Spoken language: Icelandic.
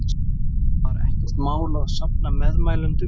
Sunna: Var ekkert mál að safna meðmælendum?